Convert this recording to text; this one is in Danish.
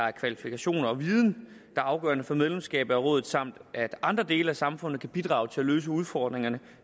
er kvalifikationer og viden er afgørende for medlemskab af rådet samt at andre dele af samfundet kan bidrage til at løse udfordringerne